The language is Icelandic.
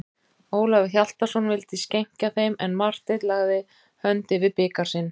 Ólafur Hjaltason vildi skenkja þeim, en Marteinn lagði hönd yfir bikar sinn.